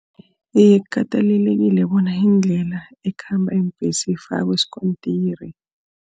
Iye, kukatelelekile bona indlela ekhamba iimbhesi ifakwe iskontiri.